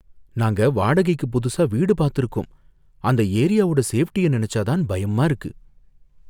நாங்க வாடகைக்கு புதுசா வீடு பாத்துருக்கோம். அந்த ஏரியாவோட சேஃப்டிய நினைச்சா தான் பயமா இருக்கு.